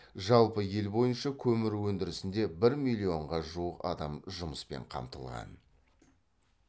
жалпы ел бойынша көмір өндірісінде бір миллионға жуық адам жұмыспен қамтылған